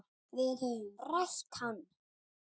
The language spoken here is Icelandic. Við höfðum rætt hann.